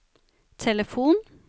telefon